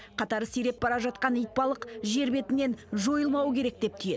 қатары сиреп бара жатқан итбалық жер бетінен жойылмауы керек деп түйеді